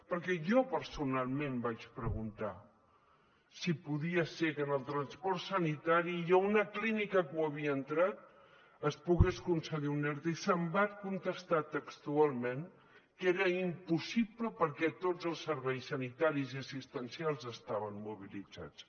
perquè jo personalment vaig preguntar si podia ser que en el transport sanitari i a una clínica que havia entrat es pogués concedir un erte i se’m va contestar textualment que era impossible perquè tots els serveis sanitaris i assistencials estaven mobilitzats